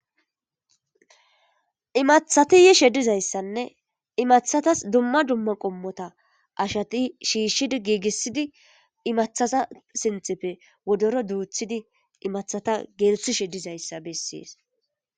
Imathati yi shedizayssanne imathatas dumma dumma qommota ashati shiishshidi giigissidi imathaza sinthepfe wodoro duuthidi imathata geelthi shedizayssa bessees.